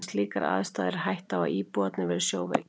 Við slíkar aðstæður er hætta á, að íbúarnir verði sjóveikir.